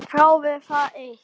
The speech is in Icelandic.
Þráði það eitt.